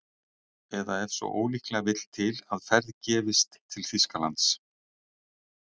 Eða ef svo ólíklega vill til að ferð gefist til Þýskalands